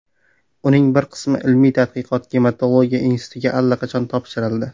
Uning bir qismi Ilmiy-tadqiqot gematologiya institutiga allaqachon topshirildi.